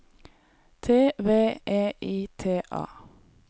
T V E I T A